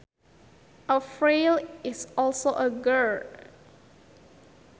A frail is also a girl